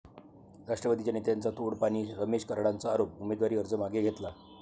राष्ट्रवादीच्या नेत्यांचं 'तोडपाणी', रमेश कराडांचा आरोप, उमेदवारी अर्ज घेतला मागे